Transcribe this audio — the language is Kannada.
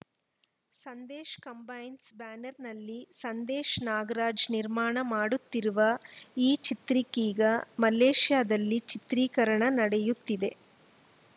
ಸಂದೇಶ್‌ ಕಂಬೈನ್ಸ‌ ಬ್ಯಾನರ್‌ನಲ್ಲಿ ಸಂದೇಶ್‌ ನಾಗರಾಜ್‌ ನಿರ್ಮಾಣ ಮಾಡುತ್ತಿರುವ ಈ ಚಿತ್ರಕ್ಕೀಗ ಮಲೇಶಿಯಾದಲ್ಲಿ ಚಿತ್ರೀಕರಣ ನಡೆಯುತ್ತಿದೆ